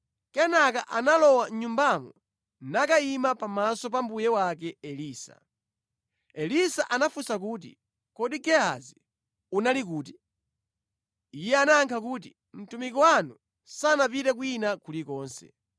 Kenaka analowa mʼnyumbamo nakayima pamaso pa mbuye wake Elisa. Elisa anafunsa kuti, “Kodi Gehazi unali kuti?” Iye anayankha kuti, “Mtumiki wanu sanapite kwina kulikonse.”